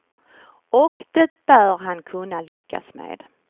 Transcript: Och det bör han kunna lyckas med.